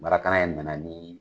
ye nana nin